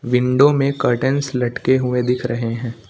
Window में curtains लटके हुए दिख रहे हैं।